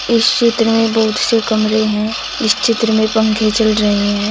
इस चित्र में बहुत से कमरे हैं। इस चित्र में पंखे चल रहे हैं।